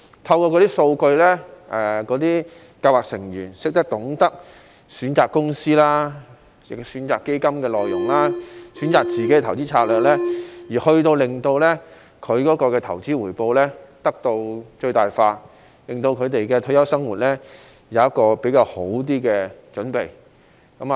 透過那些數據資料，計劃成員便懂得選擇公司、基金內容、個人投資策略，令他們的投資回報得到最大化，為他們的退休生活作較好的準備。